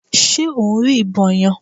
Ṣe o ń rí ìbọn yẹn?